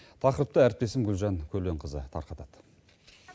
тақырыпты әріптесім гүлжан көленқызы тарқатады